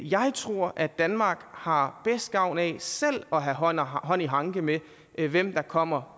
jeg tror at danmark har bedst gavn af selv at have hånd hånd i hanke med hvem der kommer